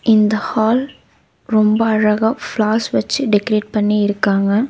இந்த ஹால் ரொம்ப அழகா ஃப்ளார்ஸ் வெச்சி டெக்கரேட் பண்ணி இருக்காங்க.